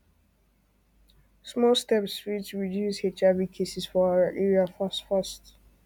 small steps fit reduce hiv cases for our area fast fast